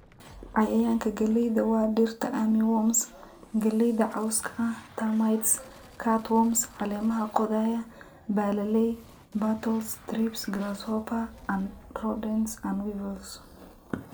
"Cayayaanka galleydu waa, Dhirta Armyworm, Armyworm, galleyda cawska ah, Termites, Cutworms, Caleemaha qodaya, Baalallay, Beetles, Thrips, Grasshopper, Rodents & Weevils."